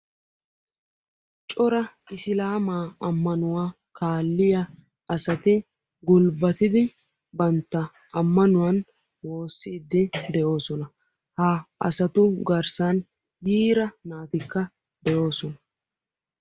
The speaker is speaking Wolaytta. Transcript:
Cora isilaamaa ammanuwa kaalliya asati gulbbatidi bantta ammanuwani wossiiddi de'oosona. Ha asatu garssan yiira naatikka de'oosona.